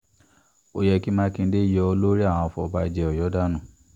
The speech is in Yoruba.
ó yẹ kí mákindé yọ olórí àwọn afọ̀bàjẹ́ ọ̀yọ́ dànù